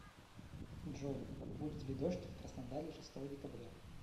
джой будет ли дождь в краснодаре шестого декабря